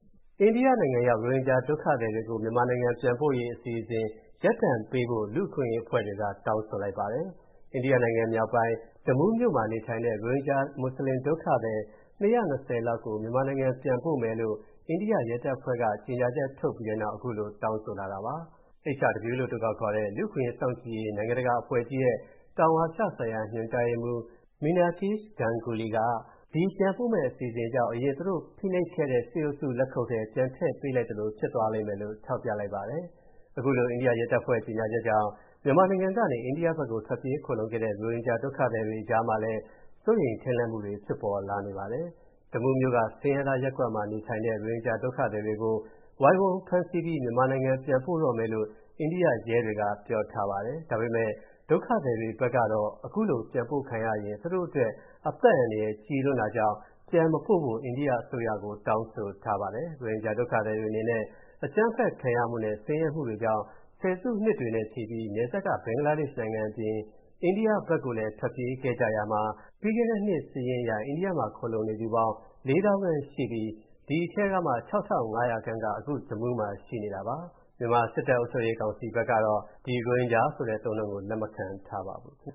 အိန္ဒိယနိုင်ငံရောက် ရိုဟင်ဂျာဒုက္ခသည်တွေကို မြန်မာနိုင်ငံပြန်ပို့ရေး အစီအစဉ် ရပ်တန့်ပေးဖို့ လူ့အခွင့်အရေးအဖွဲ့တွေက တောင်းဆိုလိုက်ပါတယ်။ အိန္ဒိယနိုင်ငံ မြောက်ပိုင်း Jammu မြို့မှာ နေထိုင်တဲ့ ရိုဟင်ဂျာမွတ်ဆလင် ဒုက္ခသည် ၂၂၀ လောက်ကို မြန်မာနိုင်ငံပြန်ပို့မယ်လို့ အိန္ဒိယရဲတပ်ဖွဲ့က ကြေညာချက်ထုတ်ပြီးတဲ့နောက် အခုလိုတောင်းဆိုတာပါ။ HRW လို့အတိုကောက်ခေါ်တဲ့ လူ့အခွင့်အရေးစောင်ကြည့်ရေး နိုင်ငံတကာအဖွဲ့ကြီးရဲ့ တောင်အာရှဆိုင်ရာ ညွှန်ကြားရေးမှူး Meenakshi Ganguly က ဒီပြန်ပို့မယ့် အစီအစဉ်ကြောင့် အရင်သူတို့ကို ဖိနှိပ်ခဲ့တဲ့ စစ်အုပ်စုလက်ခုပ်ထဲ ပြန်ထည့်ပေးလိုက်သလိုဖြစ်သွားလိမ့်မယ်လို့ ထောက်ပြလိုက်ပါတယ်။ အခုလို အိန္ဒိယရဲတပ်ဖွဲ့ကြေညာချက်ကြေင့် မြန်မာနိုင်ငံကနေ အိန္ဒိယနိုင်ငံဘက်ကို ထွက်ပြေး ခိုလှုံခဲ့တဲ့ ရိုဟင်ဂျာဒုက္ခသည်တွေအကြားမှာလည်း စိုးရိမ်ထိတ်လန့်မှုတွေဖြစ်ပေါ်လာခဲ့ပါတယ်။ Jammu မြို့က ဆင်းရဲသားရပ်ကွက်မှာ နေထိုင်နေတဲ့ ရိုဟင်ဂျာဒုက္ခသည်တွေကို ဝိုင်းဝန်းဖမ်းဆီးပြီး မြန်မာနိုင်ငံကို ပြန်ပို့တော့မယ်လို့ အိန္ဒိယရဲတွေက ပြောထားတာပါ။ ဒါပေမဲ့ ဒုက္ခသည်တွေဘက်ကတော့ ပြန်ပို့ခံရရင် သူတို့အတွက် အသက်အန္တရာယ်ကြီးလွန်းတာကြောင့် ပြန်မပို့ဖို့ အိန္ဒိယအစိုးရကို တောင်းဆိုထားပါတယ်။ ရိုဟင်ဂျာဒုက္ခသည်တွေအနေနဲ့ အကြမ်းဖက်ခံရမှုနဲ့ ဆင်းရဲမှုတွေကြောင့် ဆယ်စုနှစ်တွေနဲ့ချီပြီး နယ်စပ်က ဘင်္ဂလားဒေ့ရှ်နိုင်ငံအပြင် အိန္ဒိယကိုလည်း ထွက်ပြေးခဲ့ကြရာမှာ ပြီးခဲ့တဲ့နှစ်စာရင်းအရ အိန္ဒိယမှာ ခိုလှုံနေသူပေါင်း ၄၀,၀၀၀ ခန့်ရှိပြီး ဒီအထဲကမှ ၆,၅၀၀ ခန့်က အခု Jammu မှာရှိနေတာပါ။ မြန်မာ စစ်တပ်အုပ်ချုပ်ရေးကောင်စီဘက်ကတော့ ဒီ ရိုဟင်ဂျာဆိုတဲ့ အသုံးအနှုန်းကို လက်မခံထားပါဘူး။